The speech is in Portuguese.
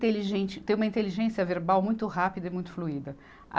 tem uma inteligência verbal muito rápida e muito fluida.